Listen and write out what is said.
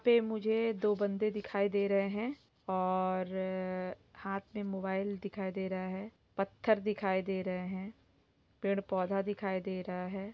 यहाँ पे दो बंदे दिखाई दे रहे है और हाथ मे मोबाइल दिखाई दे रहे है पत्थर दिखाई दे रहे है पेड़-पौधा दिखाई दे रहा है।